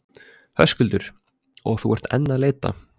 Höskuldur: Og þú ert enn að leita?